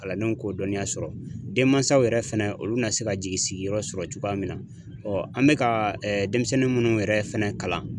Kalandenw k'o dɔnniya sɔrɔ denmansaw yɛrɛ fɛnɛ olu bɛna se ka jigi sigiyɔrɔ sɔrɔ cogoya min na an bɛ ka denmisɛnnin munnu yɛrɛ fɛnɛ kalan.